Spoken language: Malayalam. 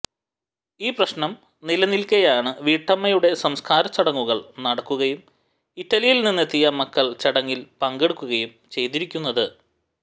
ഈ പ്രശ്നം നിലനിൽക്കെയാണ് വീട്ടമ്മയുടെ സംസ്കാര ചടങ്ങുകൾ നടക്കുകയും ഇറ്റലിയിൽ നിന്നെത്തിയ മക്കൾ ചടങ്ങിൽ പങ്കെടുക്കുകയും ചെയ്തിരിക്കുന്നത്